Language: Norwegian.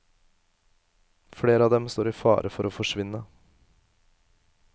Flere av dem står i fare for å forsvinne.